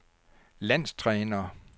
landstræner